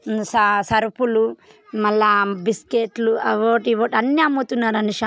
''ఆ సరుపులు మల్లా బిస్కెట్లు అవుటి ఇవోటి అన్ని అమ్ముతున్నారు అండి ''''--''''''